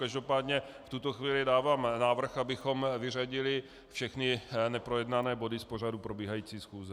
Každopádně v tuto chvíli dávám návrh, abychom vyřadili všechny neprojednané body z pořadu probíhající schůze.